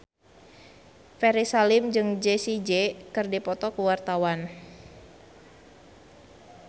Ferry Salim jeung Jessie J keur dipoto ku wartawan